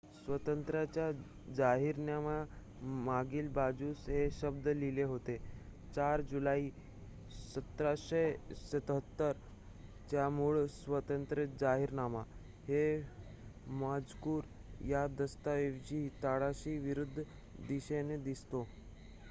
"स्वातंत्र्याच्या जाहीरनाम्याच्या मागील बाजूस हे शब्द लिहिले होते "4 जुलै 1776 चा मूळ स्वातंत्र्य जाहीरनामा"". हा मजकूर या दस्तऐवजाच्या तळाशी विरुद्ध दिशेने दिसतो.